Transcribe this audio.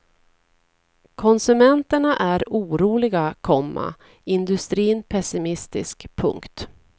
Konsumenterna är oroliga, komma industrin pessimistisk. punkt